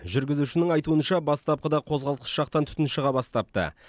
жүргізушінің айтуынша бастапқыда қозғалтқыш жақтан түтін шыға бастапты